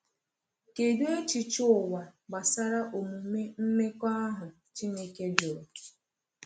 Kedụ echiche ụwa gbasara omume mmekọahụ Chineke jụrụ?